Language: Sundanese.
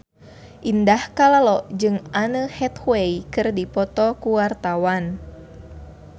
Indah Kalalo jeung Anne Hathaway keur dipoto ku wartawan